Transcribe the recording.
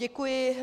Děkuji.